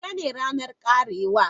Yaushe ne ranar karewa?